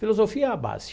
Filosofia é a base.